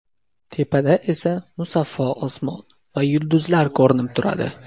Tepada esa musaffo osmon va yulduzlar ko‘rinib turadi.